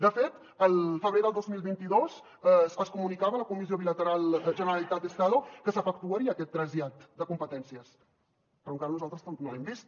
de fet al febrer del dos mil vint dos es comunicava a la comissió bilateral generalitat estado que s’efectuaria aquest trasllat de competències però encara nosaltres no l’hem vist